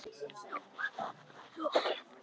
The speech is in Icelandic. Nú var öllu lokið.